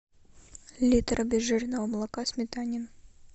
литр обезжиренного молока сметанин